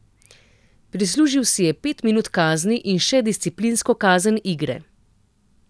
Prislužil si je pet minut kazni in še disciplinsko kazen igre.